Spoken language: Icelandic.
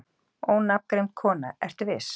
Ónafngreind kona: Ertu viss?